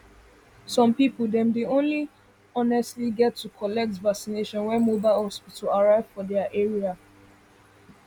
some people dem only honestly get to collect vacination when mobile hospital arrive for their area